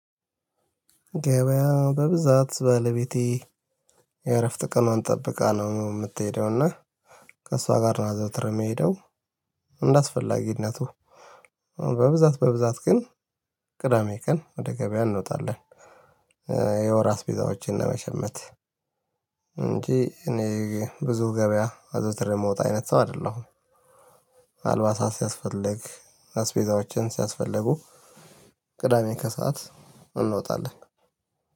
ገበያ በብዛት ባለቤቴ የእረፍት ቀኗን ጠብቃ ነው የምትሄደው እና ከእሷ ጋር ነው ዘውትር የሚሄደው። እንዳስፈላጊነቱ በብዛት በብዛት ግን ቅዳሜ ቀን ወደ ገበያ እንወጣለን። እ የወር አስቤዛዎችን ለመሽመት እንጂ እኔ ብዙ ገበያ አዘውትሬ የምወጣ አይነት ሰው አይደለሁም። አልባሳት ሲያስፈልግ አስቤዛዎችም ሲያስፈልጉ ቅዳሜ ከሰአት እንወጣለን።